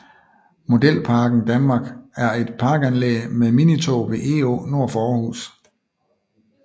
Modelparken Danmark er et parkanlæg med minitog ved Egå nord for Aarhus